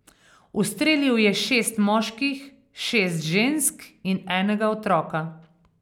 Ustrelil je šest moških, šest žensk in enega otroka.